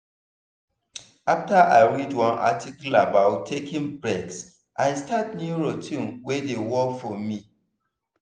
after i read one article about taking breaks i start new routine wey dey work for me.